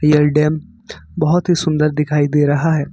यह डैम बहुत ही सुंदर दिखाई दे रहा है।